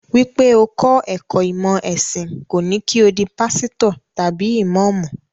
Wípé o kọ́ ẹ̀kọ́ ìmọ̀ ẹ̀sìn kò ní kí o di pásítọ̀ tàbí ìmọ́ọ̀mù.